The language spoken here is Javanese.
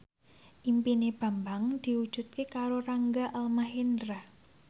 impine Bambang diwujudke karo Rangga Almahendra